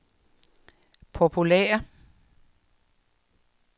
populære